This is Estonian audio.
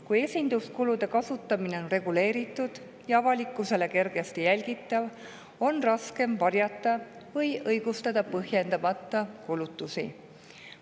Kui esinduskulude kasutamine on reguleeritud ja avalikkusele kergesti jälgitav, on põhjendamata kulutusi raskem varjata või õigustada.